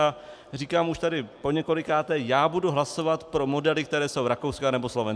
A říkám už tady poněkolikáté, já budu hlasovat pro modely, které jsou rakouské anebo slovenské.